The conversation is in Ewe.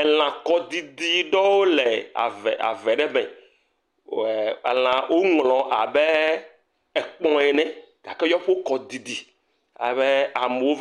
Elãkɔɖiɖi aɖewo le ave ave aɖe me, elã woŋlɔ abe abe ekpɔ ene gake woƒe kɔ didi amewo